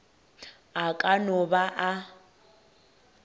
a ka no ba a